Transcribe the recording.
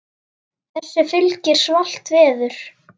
Þessu fylgir svalt veður.